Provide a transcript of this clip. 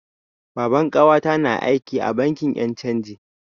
Baban ƙawata na aiki a bankin yan' canji.